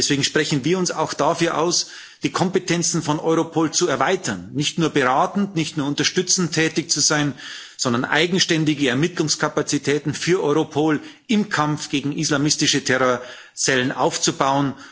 Deswegen sprechen wir uns auch dafür aus, die Kompetenzen von Europol zu erweitern, sodass es nicht nur beratend, nicht nur unterstützend tätig ist, sondern eigenständige Ermittlungskapazitäten im Kampf gegen islamistische Terrorzellen aufbaut.